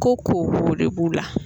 Ko ko de b'u la